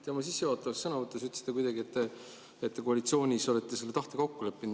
Te oma sissejuhatavas sõnavõtus ütlesite kuidagi nii, et olete koalitsioonis selle tahte kokku leppinud.